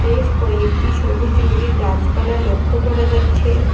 বেশ কয়েকটি সবুজ রঙের গাছপালা লক্ষ্য করা যাচ্ছে।